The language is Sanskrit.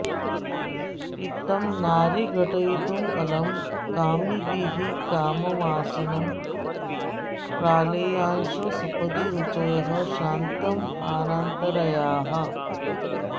इत्थं नारीर्घटयितुमलं कामिभिः काममासन् प्रालेयांशोः सपदि रुचयः शान्तमानान्तरायाः